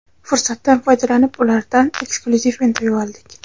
Fursatdan foydalanib, ulardan eksklyuziv intervyu oldik.